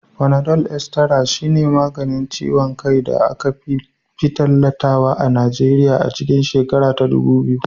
Fanadol Estara shine maganin ciwon kai da aka fi tallatawa a Nigeriya a cikin shekara ta dubu biyu.